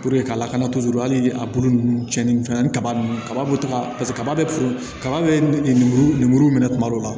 ka lakanatɔn hali ni a bolo ninnu cɛnni fɛn na ni kaba ninnu kaba bɛ to ka kaba kaba bɛ lemuru ni lemuru minɛ tuma dɔw la